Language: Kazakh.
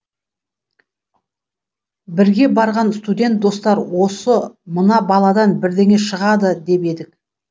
бірге барған студент достар осы мына баладан бірдеңе шығады деп едік